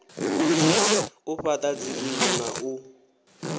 u fhaḓa dzinnḓu na u